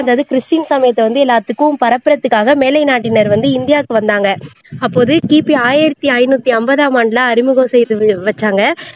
அதாவது கிறிஸ்டியன் சமயத்தை வந்து எல்லாத்துக்கும் பரப்புறதுக்காக மேலை நாட்டினர் வந்து இந்தியாவுக்கு வந்தாங்க அப்போது கிபி ஆயிரத்தி ஐநூத்தி அம்பதாம் ஆண்டுல அறிமுகம் செய்து வ வச்சாங்க